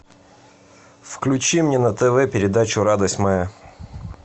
включи мне на тв передачу радость моя